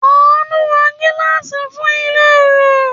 Àánú ra gíláàsì fún ilé rẹ̀.